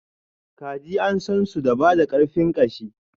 kaji an sansu da bada karfin ƙashi.